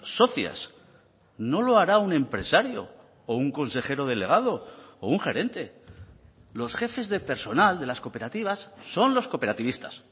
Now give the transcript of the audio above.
socias no lo hará un empresario o un consejero delegado o un gerente los jefes de personal de las cooperativas son los cooperativistas